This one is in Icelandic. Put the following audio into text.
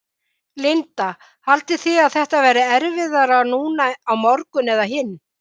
Linda: Haldið þið að þetta verði erfiðara núna á morgun og hinn?